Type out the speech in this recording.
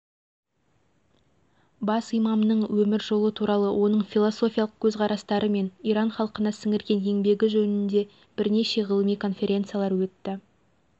елдің қазіргі экономикасы мәдениеті алдыңғы саяси бағыт-бағдары жайында осы елдің білікті ғалымдары лекциялар оқыды